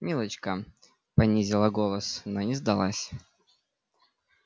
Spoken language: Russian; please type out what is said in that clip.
милочка понизила голос но не сдалась